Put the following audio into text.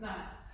Nej